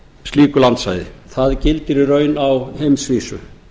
slíku landsvæði það gildir í raun á heimsvísu